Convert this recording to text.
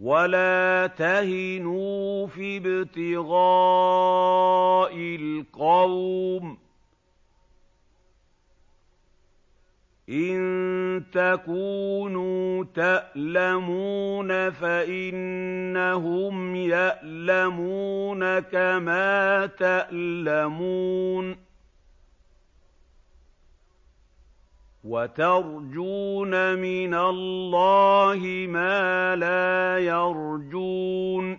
وَلَا تَهِنُوا فِي ابْتِغَاءِ الْقَوْمِ ۖ إِن تَكُونُوا تَأْلَمُونَ فَإِنَّهُمْ يَأْلَمُونَ كَمَا تَأْلَمُونَ ۖ وَتَرْجُونَ مِنَ اللَّهِ مَا لَا يَرْجُونَ ۗ